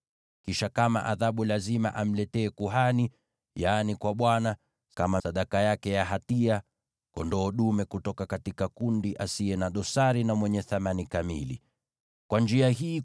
Kisha kama adhabu lazima amletee kuhani, yaani kwa Bwana , kama sadaka yake ya hatia, kondoo dume asiye na dosari na mwenye thamani kamili kutoka kundi lake.